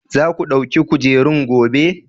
Za ku ɗauki kujerun gobe?